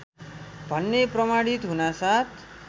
भन्ने प्रमाणित हुनासाथ